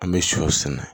An bɛ shɔ sɛnɛ